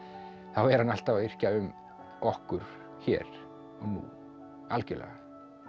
er hann alltaf að yrkja um okkur hér og nú algjörlega